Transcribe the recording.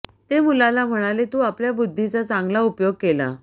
ते मुलाला म्हणाले तू आपल्या बुद्धीचा चांगला उपयोग केला